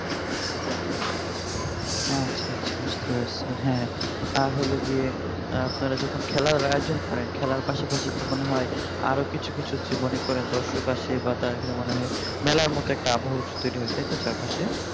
আচ্ছা আচ্ছা বুঝতে পারছি হ্যাঁ আর হলো গিয়ে আপনারা যখন খেলার আয়োজন করেন খেলার পাশাপাশি তো মনে হয় আরো কিছু কিছু যে মনে করেন দর্শক আসে বা তার এখানে মনে হয় মেলার মত একটা আবহ তৈরি হয় চারপাশে